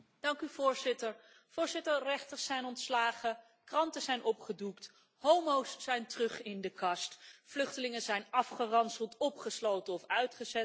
Voorzitter, rechters zijn ontslagen, kranten zijn opgedoekt, homo's zijn terug in de kast, vluchtelingen zijn afgeranseld, opgesloten of uitgezet.